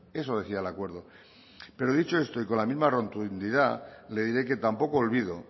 eso decía el acuerdo pero dicho esto y con la misma rotundidad le diré que tampoco olvido